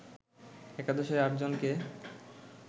একাদশের আটজনকে